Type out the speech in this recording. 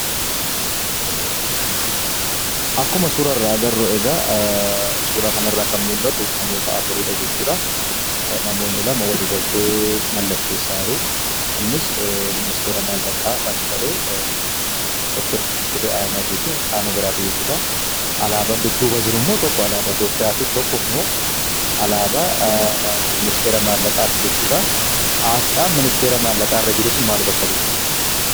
Akkuma suurarra agarru, suuraa kanarra kan mul'atu namoota afuriidha jechuudha. Namoonni lama ,walii galtee mallatteessa jiru, innis ministeera mallaqa kan ta'e, Dr.Fiqiree Ahmed fi qaama biraati jechuudha. Alaabaan dudduuba jirummoo, tokko alaabaa Itiyoopiyaati, tokkommo alaabaa ministeera maallaqaati jechudha. asxaan ministeera mallaqaa sanarra jiru maal bakka bu'a?